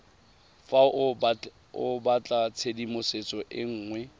fa o batlatshedimosetso e nngwe